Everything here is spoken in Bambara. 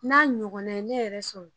N'a ɲɔgɔnna ye ne yɛrɛ sɔrɔ